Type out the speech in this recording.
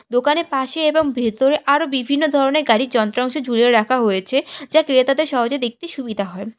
দোকানে পাশে এবং ভেতরে আরো বিভিন্ন ধরনের গাড়ির যন্ত্রাংশ ঝুলিয়ে রাখা হয়েছে যা ক্রেতাদের সহজে দেখতে সুবিধা হয়।